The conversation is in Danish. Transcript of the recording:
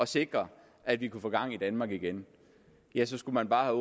sikre at vi kunne få gang i danmark igen ja så skulle man bare